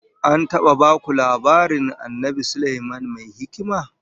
An taba baku labarin Annabi Sulaiman Mai Hikima?